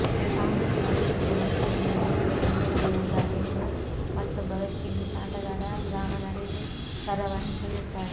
ತಾನು ಈ ಪ್ರಾಯೋಗಿಕ ಮರುಪರಿಶೀಲನೆ ವ್ಯವಸ್ಥೆಯ ಬೆಂಬಲಿಗನಲ್ಲ ಎಂದು ಮತ್ತೊಬ್ಬ ವೆಸ್ಟ್ ಇಂಡೀಸ್ ಆಟಗಾರ ರಾಮನರೇಶ್ ಸರವಣ್ ಹೇಳುತ್ತಾರೆ